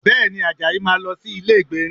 Bẹ́ẹ̀ni, Àjàyí máa lọ sí ilé ìgbérin